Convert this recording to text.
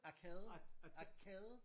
Arkade arkade